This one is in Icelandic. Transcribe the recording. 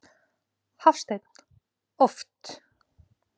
Hafsteinn: Oft?